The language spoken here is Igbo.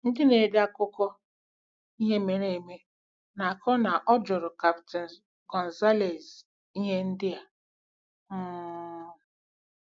Ndị na-ede akụkọ ihe mere eme na-akọ na ọ jụrụ Captain González ihe ndị a: um